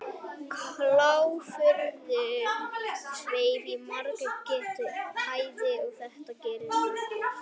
Kláfurinn sveif í margra metra hæð og það var ekkert sem hann gat gert.